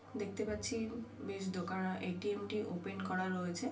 দেখতে পাচ্ছি বেশ দোকা এ.টি.এম. -টি ওপেন করা রয়েছে ।